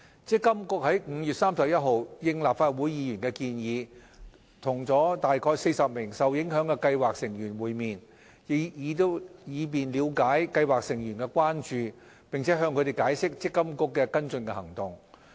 積金局於5月31日應立法會議員的建議，與約40名受影響的計劃成員會面，以了解計劃成員的關注，並向他們解釋積金局的跟進行動。